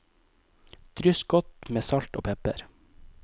Dryss godt med salt og pepper.